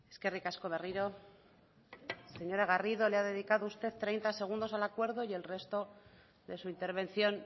eskerrik asko berriro señora garrido le ha dedicado usted treinta segundos al acuerdo y el resto de su intervención